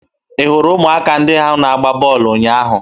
Ị hụrụ ụmụaka ndị ahụ na-agba bọọlụ ụnyaahụ?